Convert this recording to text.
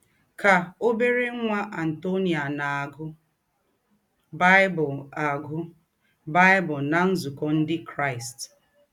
Kà òbérè ńwá Antonia na - àgụ́ Bible - àgụ́ Bible ná nzúkọ̄ Ǹdị Kraịst.